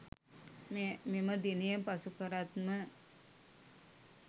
මෙම දිනය පසු කරත්ම